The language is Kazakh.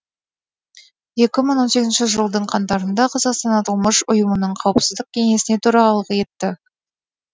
екі мың он сегізінші жылдың қаңтарында қазақстан аталмыш ұйымның қауіпсіздік кеңесіне төрағалық етті